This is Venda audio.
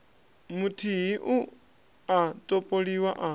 muthihi u a topoliwa a